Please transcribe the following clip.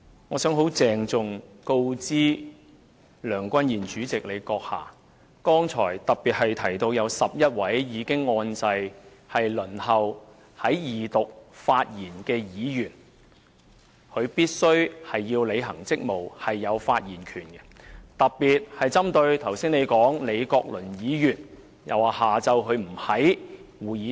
我想很鄭重告知梁君彥主席，剛才特別提到有11位已按下"發言按鈕"，輪候在二讀發言的議員必須履行職務，而且享有發言權，特別是你剛才指李國麟議員下午不在會議廳。